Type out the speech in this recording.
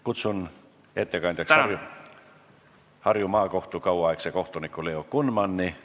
Kutsun ettekandjaks Harju Maakohtu kauaaegse kohtuniku Leo Kunmani.